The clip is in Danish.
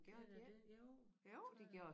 Gjorde den det jo det tror jeg